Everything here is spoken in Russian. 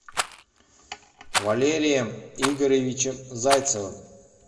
валерием игоревичем зайцевым